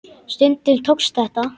Stundum tókst þetta.